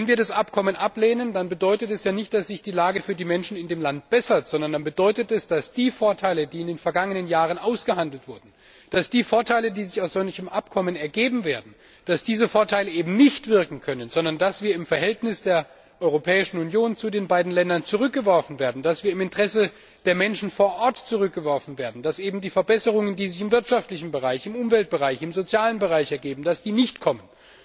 Wenn wir das Abkommen ablehnen, dann bedeutet das ja nicht, dass sich die Lage für die Menschen in dem Land bessert, sondern es bedeutet, dass die Vorteile, die in den vergangenen Jahren ausgehandelt wurden, dass die Vorteile, die sich aus solchen Abkommen ergeben werden, eben nicht wirken können, sondern dass wir im Verhältnis der Europäischen Union zu den beiden Ländern zurückgeworfen werden, dass wir im Interesse der Menschen vor Ort zurückgeworfen werden, dass eben die Verbesserungen, die sich im wirtschaftlichen Bereich, im Umweltbereich, im sozialen Bereich ergeben, nicht kommen.